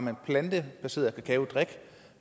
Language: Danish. er plantebaseret kakaodrik